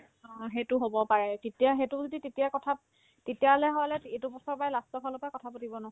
অ, সেইটো হ'ব পাৰে তেতিয়া সেইটো যদি তেতিয়া কথা তেতিয়াহ'লে হ'লে এইটো বছৰৰ পৰা last ৰ ফালৰ পৰা কথা পাতিব ন